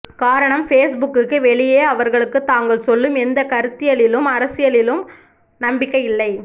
காரணம் ஃபேஸ்புக்குக்கு வெளியே அவர்களுக்கு தாங்கள் சொல்லும் எந்த கருத்தியலிலும் அரசியலிலும் நம்பிக்கை இல்லை